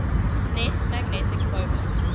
net magnetic moment